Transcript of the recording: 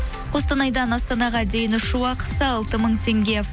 қостанайдан астанаға дейін ұшу ақысы алты мың теңге